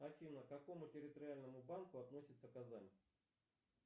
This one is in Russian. афина к какому территориальному банку относится казань